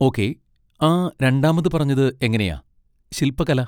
Okay, ആ രണ്ടാമത് പറഞ്ഞത് എങ്ങനെയാ, ശിൽപ്പകല?